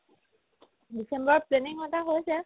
ডিচেম্বৰত planning এটা হৈছে